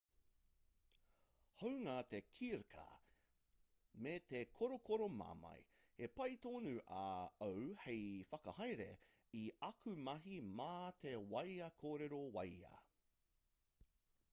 hāunga te kirkā me te korokoro mamae he pai tonu au hei whakahaere i aku mahi mā te wāea kōrero wāea